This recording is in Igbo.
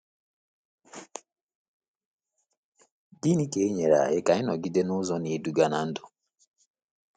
Gịnị ga-enyere anyị aka ịnọgide n’ụzọ na-eduga na ndụ?